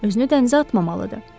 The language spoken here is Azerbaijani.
Özünü dənizə atmamalıdır.